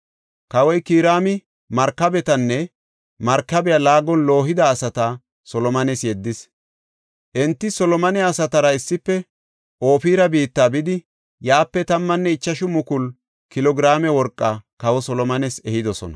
Kawoy Kiraami markabetanne markabiya laagon loohida asata Solomones yeddis. Enti Solomone asatara issife Ofira biitta bidi yaape 15,000 kilo giraame worqaa kawa Solomones ehidosona.